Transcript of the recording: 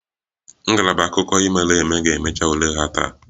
Ngalaba akụkọ ihe mere eme ga-emecha ule ha taa